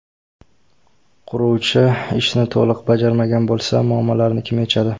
Quruvchi ishni to‘liq bajarmagan bo‘lsa, muammolarni kim yechadi?